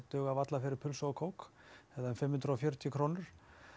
dugar varla fyrir pulsu og kók eða fimm hundruð og fjörutíu krónur